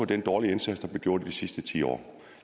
den dårlige indsats der blev gjort de sidste ti år